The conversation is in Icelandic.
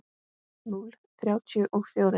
Núll þrjátíu og fjórir.